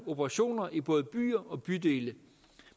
operationer i både byer og bydele